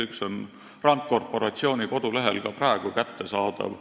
Üks on RAND Corporationi kodulehel ka praegu kättesaadav.